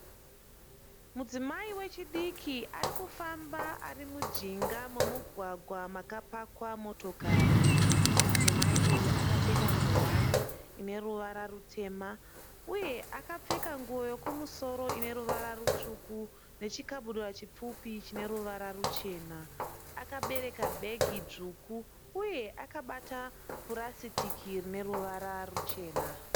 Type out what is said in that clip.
Mudzimai wechidiki arikufamba ari mujinga memugwagwa makapakwa motokari. Mudzimai uyu akapfeka ngowani ine ruwara rutema uye akapfeka nguo yekumusoro ine ruwara rutsvuku nechikabudura chipfupi chine ruvara ruchena. Akabereka bhegi dzvuku uye akabata purasitiki rine ruvara ruchena.